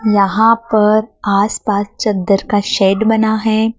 यहां पर आस पास चद्दर का शेड बना है।